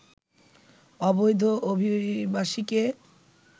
অবৈধ অভিবাসীকে